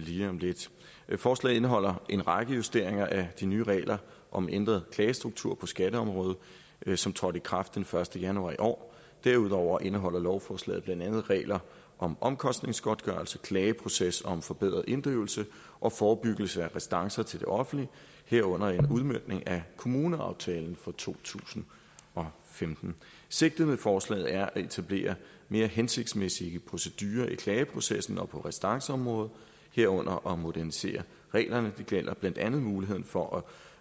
lige om lidt forslaget indeholder en række justeringer af de nye regler om ændret klagestruktur på skatteområdet som trådte i kraft den første januar i år derudover indeholder lovforslaget blandt andet regler om omkostningsgodtgørelse klageproces og om forbedret inddrivelse og forebyggelse af restancer til det offentlige herunder en udmøntning af kommuneaftalen for to tusind og femten sigtet med forslaget er at etablere mere hensigtsmæssige procedurer i klageprocessen og på restanceområdet herunder at modernisere reglerne det gælder blandt andet muligheden for